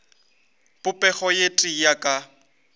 popego ye tee ya ka